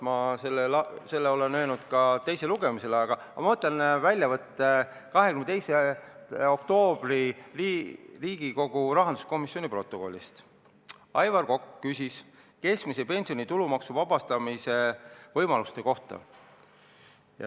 Ma ütlesin seda ka teisel lugemisel, aga võtan veel ette väljavõtte 22. oktoobril toimunud Riigikogu rahanduskomisjoni protokollist: "Aivar Kokk küsis keskmise pensioni tulumaksu vabastuse võimaluse kohta.